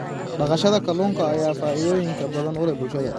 Dhaqashada kalluunka ayaa faa'iidooyin badan u leh bulshada.